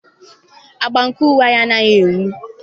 Agba nke uwe m anaghị enwu.